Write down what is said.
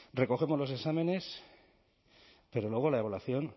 recogemos los exámenes pero luego la evaluación